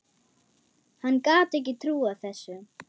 Hann gat ekki trúað þessu.